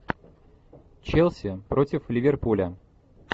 челси против ливерпуля